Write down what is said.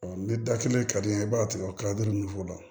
ni da kelen ka di n ye i b'a tigɛ o kalo duuru la